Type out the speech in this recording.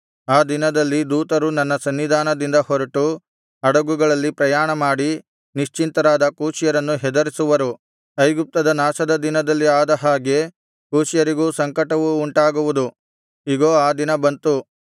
ಆ ದಿನದಲ್ಲಿ ದೂತರು ನನ್ನ ಸನ್ನಿಧಾನದಿಂದ ಹೊರಟು ಹಡಗುಗಳಲ್ಲಿ ಪ್ರಯಾಣಮಾಡಿ ನಿಶ್ಚಿಂತರಾದ ಕೂಷ್ಯರನ್ನು ಹೆದರಿಸುವರು ಐಗುಪ್ತದ ನಾಶದ ದಿನದಲ್ಲಿ ಆದ ಹಾಗೆ ಕೂಷ್ಯರಿಗೂ ಸಂಕಟವು ಉಂಟಾಗುವುದು ಇಗೋ ಆ ದಿನ ಬಂತು